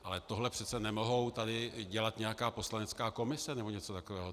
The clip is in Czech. Ale tohle přece nemůže tady dělat nějaká poslanecká komise nebo něco takového.